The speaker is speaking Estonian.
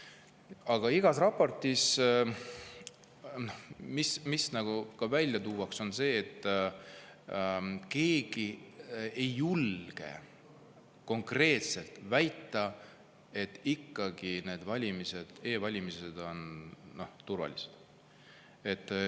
Aga igas raportis, nagu on ka välja toodud, on see, et keegi ei julge konkreetselt väita, et e-valimised on turvalised.